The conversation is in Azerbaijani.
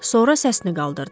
Sonra səsini qaldırdı.